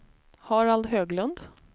Harald Höglund